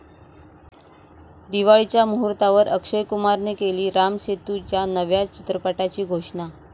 दिवाळीच्या मुहूर्तावर अक्षय कुमारने केली राम सेतू या नव्या चित्रपटाची घोषणा